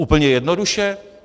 Úplně jednoduše?